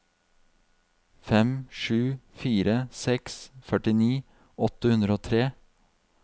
fem sju fire seks førtini åtte hundre og tre